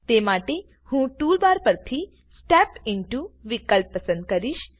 તે માટે હું ટુલ બાર પરથી સ્ટેપ ઇન્ટો વિકલ્પ પસંદ કરીશ